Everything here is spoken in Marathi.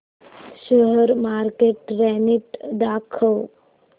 शेअर मार्केट ट्रेण्ड दाखव